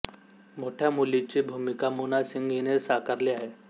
मोठ्या मुलीची भूमिका मोना सिंग हिने साकारली आहे